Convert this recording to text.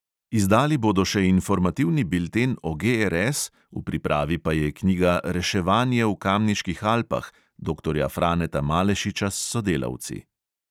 Izdali bodo še informativni bilten o GRS, v pripravi pa je knjiga reševanje v kamniških alpah doktorja franeta malešiča s sodelavci.